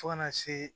Fo kana se